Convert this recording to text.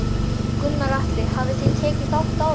Gunnar Atli: Hafið þið tekið þátt áður?